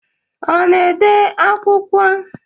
Ọ na-ede akwụkwọ?